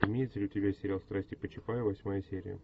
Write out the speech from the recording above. имеется ли у тебя сериал страсти по чапаю восьмая серия